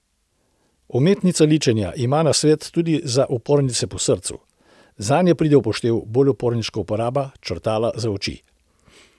Umetnica ličenja ima nasvet tudi za upornice po srcu: 'Zanje pride v poštev bolj uporniška uporaba črtala za oči.